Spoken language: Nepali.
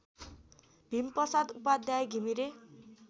भीमप्रसाद उपाध्याय घिमिरे